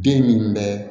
Bin min bɛ